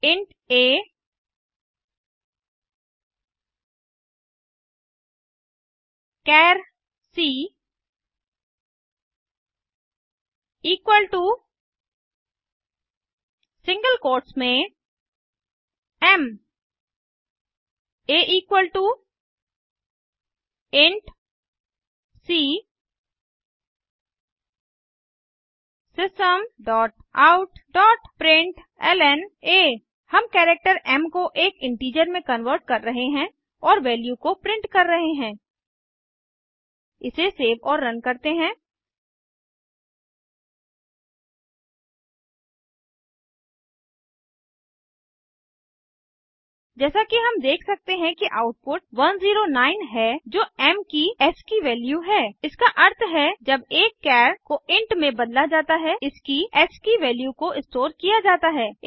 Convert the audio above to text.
int a char c equal to single quotes में m a equal to c system dot out dot println हम character m को एक integer में convert कर रहे हैं और वैल्यू को प्रिंट कर रहे हैं इसे सेव और रन करते हैं जैसा कि हम देख सकते हैं कि आउटपुट 109 है जो एम की एस्की वैल्यू है इसका अर्थ है जब एक चार को इंट में बदला जाता है इसकी एस्की वैल्यू को स्टोर किया जाता है